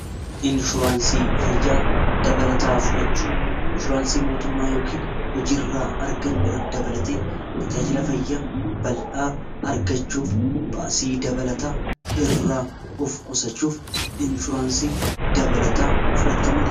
Inshuraansii fayya dabalataa fudhachuu inshuraansii mootummaa yookiin hojii irraa argannu irra dabalate tajaajila fayya baldhaa argachuuf baasii dabalataa irraa of qusachuuf inshuraansii dabalataa fudhachuu ni dandeeenya.